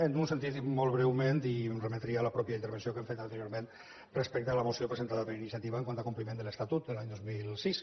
en un sentit molt breu i em remetria a la pròpia presentació que hem fet anteriorment respecte a la moció presentada per ini·ciativa quant a compliment de l’estatut l’any dos mil sis